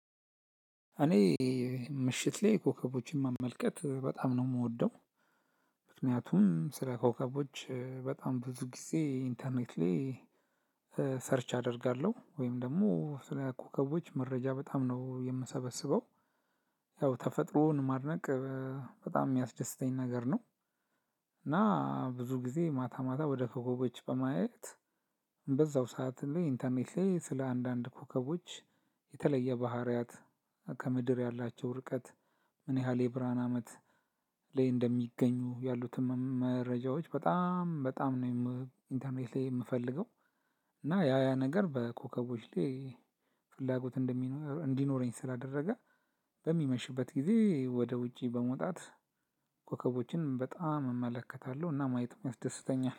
እኔ ምሽት ላይ ኮከቦችን መመልከት በጣም ነው የምወደው። ምክንያቱም ስለ ኮከቦች በጣም ብዙ ጊዜ ኢንተርኔት ላይ ሰርች አደርጋለሁ ወይም ደግሞ ስለ ኮከቦች መረጃ በጣም ነው የምሰበስበው። ያው ተፈጥሮን ማድነቅ በጣም የሚያስደስተኝ ነገር ነው። እና ብዙ ጊዜ ማታ ማታ ወደ ኮከቦች በማየት በዛው ሰዓት ላይ ኢንተርኔት ላይ ስለ አንዳንድ ኮከቦች የተለየ ባህሪያት ከምድር ያላቸው ርቀት ምን ያህል የብርሃን አመት ላይ እንደሚገኙ ያሉትን መረጃዎች በጣም በጣም ነው ኢንተርኔት ላይ የምፈልገው። እና ያ ያ ነገር በኮከቦች ላይ ፍላጎት እንዲኖረኝ ስላደረገ በሚመሽበት ጊዜ ወደ ውጪ በመውጣት ኮከቦችን በጣም እመለከታለሁ እና ማየትም ያስደሰተኛ